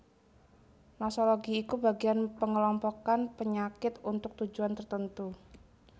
Nosologi iku bagian pengelompokan panyakit untuk tujuan tertentu